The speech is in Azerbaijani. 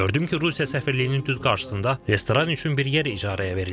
Gördüm ki, Rusiya səfirliyinin düz qarşısında restoran üçün bir yer icarəyə verilib.